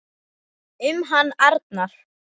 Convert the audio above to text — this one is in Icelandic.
Um hann Arnar.